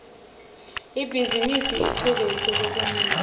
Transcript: ibhizimisi icuketse lokunengi